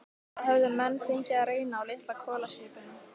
Það höfðu menn fengið að reyna á litla kolaskipinu